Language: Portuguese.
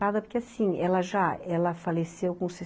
Porque, assim, ela já, ela faleceu